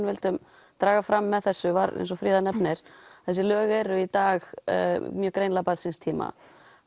vildum draga fram með þessu var eins og Fríða nefnir þessi lög eru í dag mjög greinilega barn síns tíma